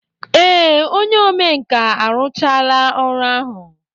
Ee, onye omenkà arụchaala ọrụ ahụ.